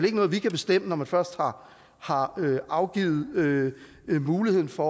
ikke noget vi kan bestemme når man først har afgivet muligheden for